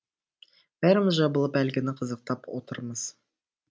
бәріміз жабылып әлгіні қызықтап отырамыз